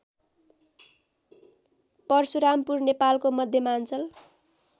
परशुरामपुर नेपालको मध्यमाञ्चल